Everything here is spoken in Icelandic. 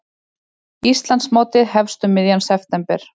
Íslandsmótið hefst um miðjan september